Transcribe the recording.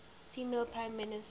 female prime minister